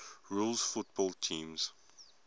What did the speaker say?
rules football teams